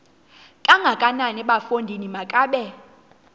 kangakanana bafondini makabe